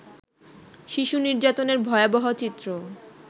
শিশু নির্যাতনের ভয়াবহ চিত্র